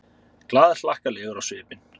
Glaðhlakkalegur á svipinn.